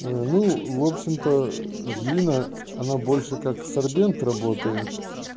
ну в общем то глина она больше как сорбент работает